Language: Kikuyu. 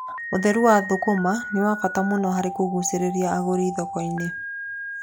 Ũtheru wa thũkũma nĩ wabata mũno harĩ kũgucĩrĩria agũri thoko-inĩ.